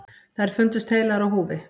Þær fundust heilar á húfi.